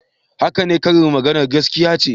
Haka ne, karin maganar gaskiya ce